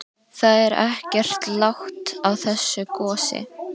Það er ekkert lát á þessu gosi?